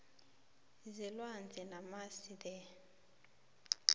zelwandle namasil the